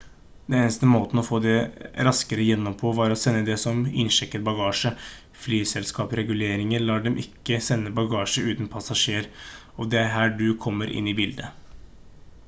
den eneste måten å få det raskere gjennom på var å sende det som innsjekket bagasje flyselskapsreguleringer lar dem ikke sende bagasje uten passasjer og det er her du kommer inn i bildet